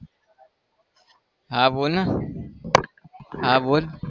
હા બોલ ને હા બોલ